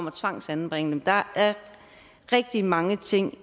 et tvangsanbringe dem der er rigtig mange ting